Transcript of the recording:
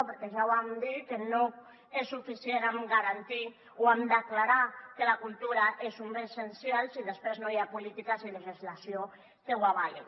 perquè ja vam dir que no n’hi ha prou amb declarar que la cultura és un bé essencial si després no hi ha polítiques i legislació que ho avalin